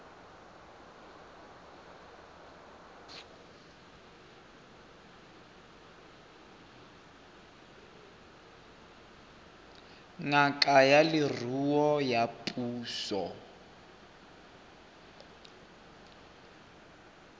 ngaka ya leruo ya puso